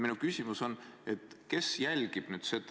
Minu küsimus on: kes selliseid asju jälgib?